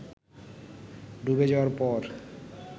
ডুবে যাওয়ার পর